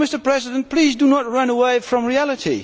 So, Mr President, please do not run away from reality.